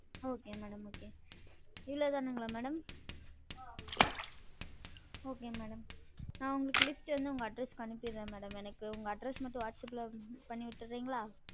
Okay madam okay இவ்ளோதானுங்களா madam? okay madam நா list வந்து உங்களுக்கு உங்க address க்கு அனுப்பிடுரன் madam எனக்கு உங்க address மட்டும் வாட்சப் ப்~ பண்ணிவிற்றிங்களா?